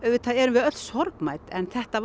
auðvitað erum við öll sorgmædd en þetta